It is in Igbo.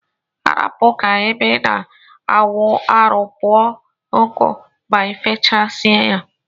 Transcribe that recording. Arapu ka ebe ina awụ arụ kpụọ nku ma ifechsie ya.